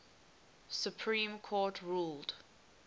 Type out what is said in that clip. supreme court ruled